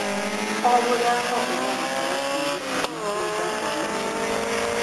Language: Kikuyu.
O mũthako ũrabatara kwĩruta mahinda kwa mahinda.